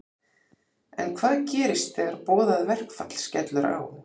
En hvað gerist þegar boðað verkfall skellur á?